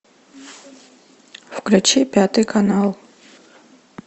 включи пятый канал